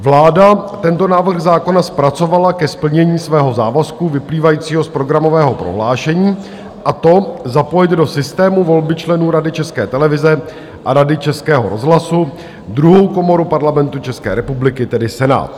Vláda tento návrh zákona zpracovala ke splnění svého závazku vyplývajícího z programového prohlášení, a to zapojit do systému volby členů Rady České televize a Rady Českého rozhlasu druhou komoru Parlamentu České republiky, tedy Senát.